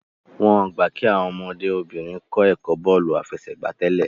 wón gbà kí Àwọn ọmọdé obìnrin kò ẹkọ bóòlù àfẹsẹ̀gbá tèlé